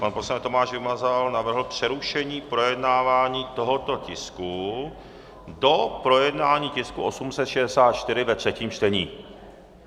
Pan poslanec Tomáš Vymazal navrhl přerušení projednávání tohoto tisku do projednání tisku 864 ve třetím čtení.